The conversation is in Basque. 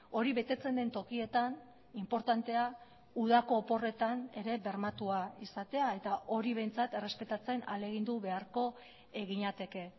hori betetzen den tokietan inportantea udako oporretan ere bermatua izatea eta hori behintzat errespetatzen ahalegindu beharko ginateke